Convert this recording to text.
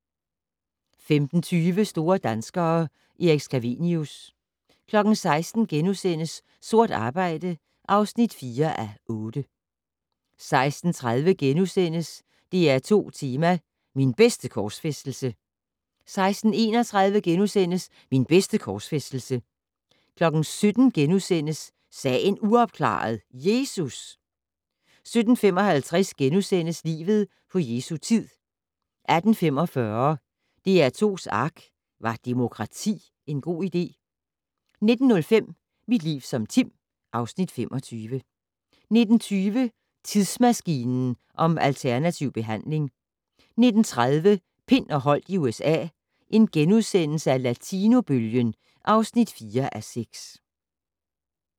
15:20: Store danskere - Erik Scavenius 16:00: Sort arbejde (4:8)* 16:30: DR2 Tema: Min bedste korsfæstelse * 16:31: Min bedste korsfæstelse * 17:00: Sagen uopklaret - Jesus! * 17:55: Livet på Jesu tid * 18:45: DR2's ARK - Var demokrati en god idé? 19:05: Mit liv som Tim (Afs. 25) 19:20: Tidsmaskinen om alternativ behandling 19:30: Pind og Holdt i USA - Latinobølgen (4:6)*